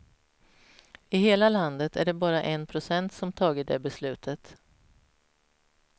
I hela landet är det bara en procent som tagit det beslutet.